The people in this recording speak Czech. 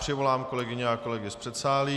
Přivolám kolegyně a kolegy z předsálí.